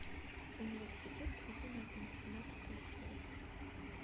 университет сезон один семнадцатая серия